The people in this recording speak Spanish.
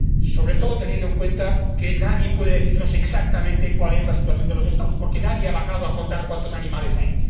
Sobre todo, teniendo en cuenta que nadie puede decirnos exactamente cuál es la situación de las poblaciones, porque nadie ha bajado a contar cuántos animales hay.